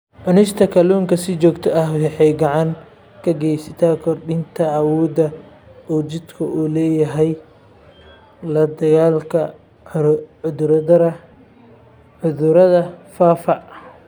Cunista kalluunka si joogto ah waxay gacan ka geysataa kordhinta awoodda uu jidhku u leeyahay la-dagaallanka cudurrada faafa.